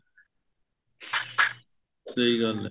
ਸਹੀ ਗੱਲ ਏ